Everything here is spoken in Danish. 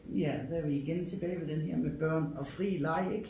Ja der er vi igen tilbage ved den her med børn og fri leg ik